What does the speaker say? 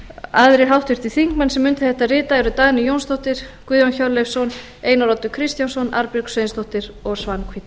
aðrir háttvirtir þingmenn sem undir þetta rita eru dagný jónsdóttir guðjón hjörleifsson einar oddur kristjánsson arnbjörg sveinsdóttir og svanhvít